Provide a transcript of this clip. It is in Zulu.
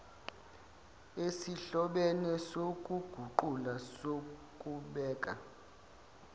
esihlobene sokuguqula sokubeka